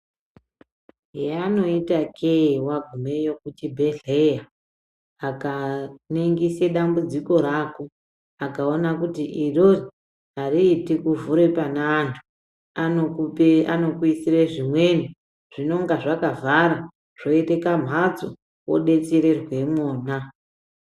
Yavanoita kee vagumeyo kuchibhedhleya aka ningise dambudziko rako akaona kuti irori hariiti kuvhure pane antu. Anokuisire zvimweni zvinonga zvakavhara zvoite kamhatso vobetsererwa mwona.